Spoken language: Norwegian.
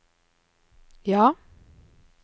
ja